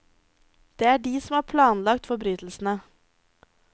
Det er de som har planlagt forbrytelsene.